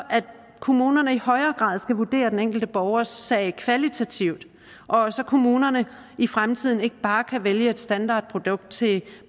kommunerne i højere grad skal vurdere den enkelte borgers sag kvalitativt og så kommunerne i fremtiden ikke bare kan vælge et standardprodukt til